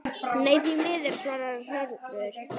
Nei, því miður svarar Hörður.